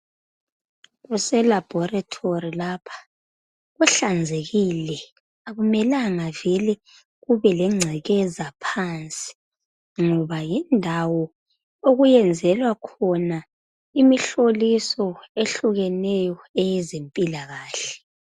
Kuse laboratory lapha kuhlanzekile akumelanga vele kube lengcekeza phansi ngoba yindawo okuyenzelwa khona imihloliso eyehlukeneyo eyezempilakahle